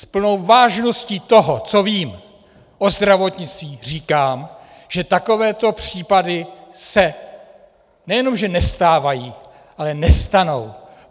S plnou vážností toho, co vím o zdravotnictví, říkám, že takovéto případy se nejenom že nestávají, ale nestanou.